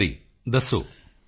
ਜੀ ਹਰੀ ਦੱਸੋ